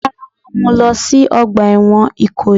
Rárá, wọ́n mú u lọ sí ọgbà ẹ̀wọ̀n Ìkòyí.